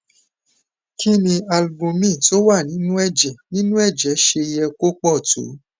kini ni albumin tó wà nínú ẹjẹ nínú ẹjẹ ṣe ye ko pọ tó